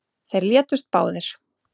Þeir létust báðir